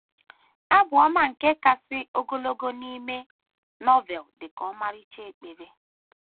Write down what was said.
Abụ ọma nke kasị ogologo n’ime Novel dị ka ọmarịcha ekpere.